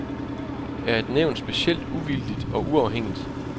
Er et nævn specielt uvildigt og uafhængigt?